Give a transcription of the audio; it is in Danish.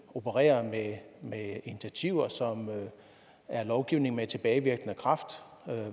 opererer med initiativer som er lovgivning med tilbagevirkende kraft